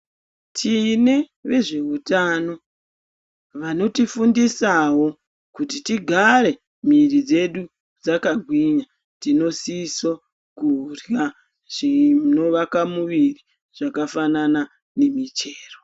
Tine vezveutano vanotifundisawo kuti tigare mwiri dzedu dzakagwinya. Tinosiso kurya zvinovaka muviri zvakafanana nemichero.